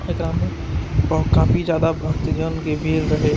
एकरा में ब-काफी ज्यादा भक्त जन के भीड़ रहे --